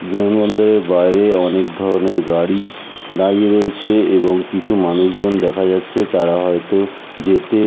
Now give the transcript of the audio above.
বিমান বন্দরের বাইরে অনেক ধরণের গাড়ি দাঁড়িয়ে রয়েছে এবং কিছু মানুষজন দেখা যাচ্ছে তারা হয়তো যেতে--